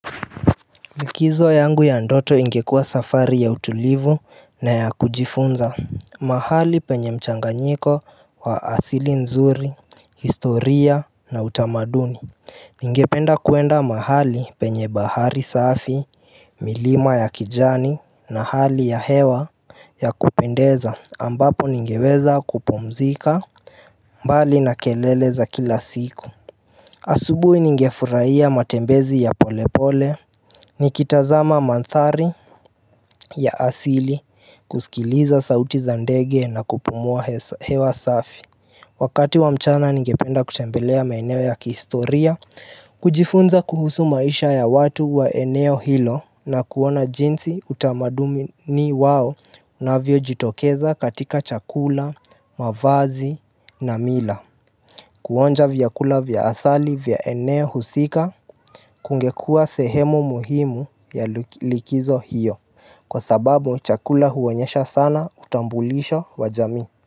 Likizo yangu ya ndoto ingekuwa safari ya utulivu na ya kujifunza mahali penye mchanganyiko wa asili nzuri, historia na utamaduni Ningependa kuenda mahali penye bahari safi, milima ya kijani na hali ya hewa ya kupendeza ambapo ningeweza kupumzika mbali na kelele za kila siku asubuhi ningefurahia matembezi ya polepole Nikitazama manthari ya asili kusikiliza sauti za ndege na kupumua hewa safi Wakati wa mchana ningependa kutembelea maeneo ya kihistoria kujifunza kuhusu maisha ya watu wa eneo hilo na kuona jinsi utamaduni wao inavyo jitokeza katika chakula, mavazi na mila Kuonja vyakula vya asali vya eneo husika kungekuwa sehemu muhimu ya likizo hiyo Kwa sababu chakula huonyesha sana utambulisho wajamii.